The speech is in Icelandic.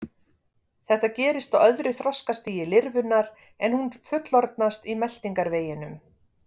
Þetta gerist á öðru þroskastigi lirfunnar en hún fullorðnast í meltingarveginum.